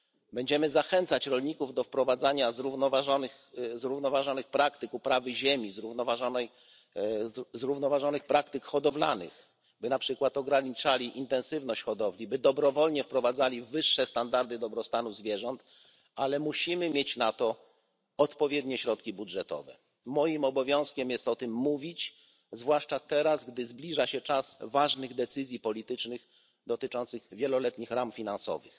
Będziemy zachęcać rolników do stosowania zrównoważonych praktyk uprawy ziemi, zrównoważonych praktyk hodowlanych, by na przykład ograniczali intensywność hodowli, by dobrowolnie wprowadzali wyższe standardy dobrostanu zwierząt, ale musimy mieć na to odpowiednie środki budżetowe. Moim obowiązkiem jest o tym mówić, zwłaszcza teraz, gdy zbliża się czas ważnych decyzji politycznych dotyczących wieloletnich ram finansowych.